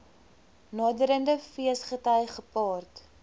naderende feesgety gepaard